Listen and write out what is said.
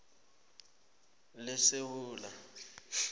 lesewula